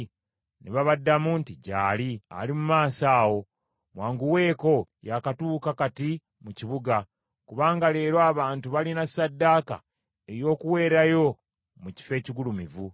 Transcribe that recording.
Ne babaddamu nti, “Gy’ali. Ali mu maaso awo. Mwanguweeko, yaakatuuka kati mu kibuga, kubanga leero abantu balina ssaddaaka ey’okuweerayo mu kifo ekigulumivu.